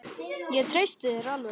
Ég treysti þér alveg.